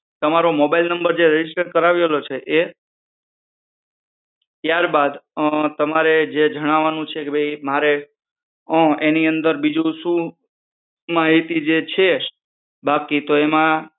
તમારો mobile number જે register કરાવેલો છે એ ત્યારબાદ તમારે જે જણાવાનું છે કે ભાઈ એ મારે એની અંદર બીજું શું માહિતી જે છે એ બાકી તો તમે